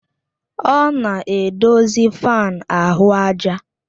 Ọ na-edozi fáan ahụ àjà